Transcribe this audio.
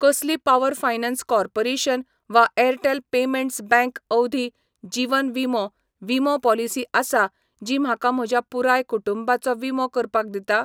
कसली power finance corporation वा Airtel payments bank अवधी जीवन विमो विमो पॉलिसी आसा जी म्हाका म्हज्या पुराय कुटुंबाचो विमो करपाक दिता?